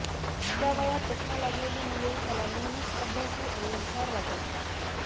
त्या वयात चष्मा लागलेली मुले मला नेहमीच अभ्यासू आणि हुशार वाटायची